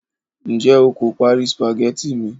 njé o ko pari spaghetti mi